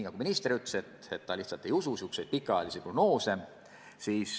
Nagu minister ütles, ta lihtsalt ei usu sääraseid pikaajalisi prognoose.